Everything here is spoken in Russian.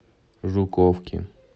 жуковки